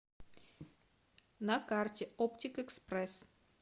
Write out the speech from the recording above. на карте оптик экспресс